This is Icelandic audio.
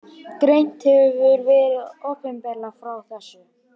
Greint hefur verið opinberlega frá þessu